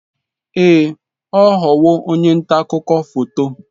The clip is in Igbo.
Ee, ọ ghọwo onye nta akụkọ foto.